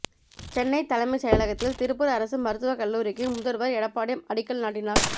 சென்னை தலைமைச்செயலகத்தில் திருப்பூர் அரசு மருத்துவக்கல்லூரிக்கு முதல்வர் எடப்பாடி அடிக்கல் நாட்டினார்